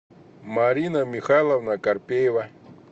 марина михайловна карпеева